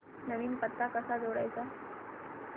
नवीन पत्ता कसा जोडायचा